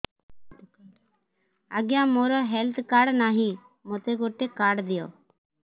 ଆଜ୍ଞା ମୋର health card ନାହିଁ ମୋତେ ଗୋଟେ କାର୍ଡ ଦିଅ